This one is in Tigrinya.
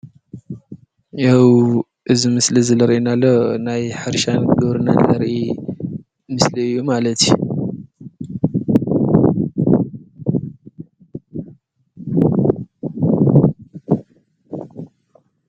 ያው እዚ ምስሊ ለሪኤናሎ ናይ ሓሪሻን ግብርና ለርኢ ምስል እዩ ማለት እየ፡፡